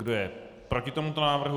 Kdo je proti tomuto návrhu?